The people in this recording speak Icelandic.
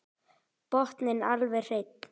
Botninn alveg hreinn.